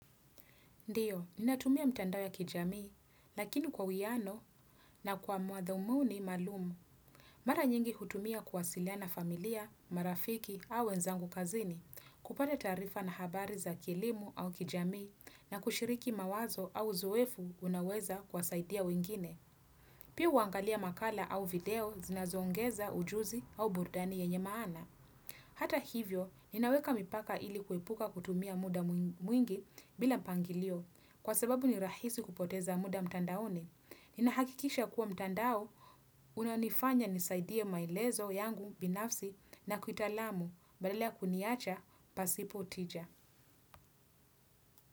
Ndiyo, ninatumia mitandao ya kijamii, lakini kwa uiano na kwa mudhumuni maalumu. Mara nyingi hutumia kuwasiliana na familia, marafiki au wenzangu kazini, kupata taarifa na habari za kielimu au kijamii na kushiriki mawazo au uzoefu unaoweza kuwasaidia wengine. Pia huangalia makala au video zinazo ongeza ujuzi au burudani yenye maana. Hata hivyo, ninaweka mipaka ili kuepuka kutumia muda mwingi bila mpangilio. Kwa sababu ni rahisi kupoteza muda mtandaoni. Ninahakikisha kuwa mtandao, unanifanya nisaidie maelezo yangu binafsi na kuitalamu. Badala kuniacha, pasipo tija.